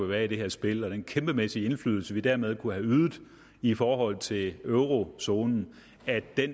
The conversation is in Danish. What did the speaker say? være i det her spil og den kæmpemæssige indflydelse vi dermed kunne have ydet i forhold til eurozonen